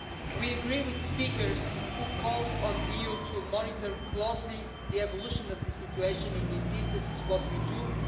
We agree with speakers who called on the EU to monitor closely the evolution of the situation, and indeed this is what we are doing.